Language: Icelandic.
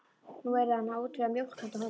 Nú yrði hann að útvega mjólk handa honum.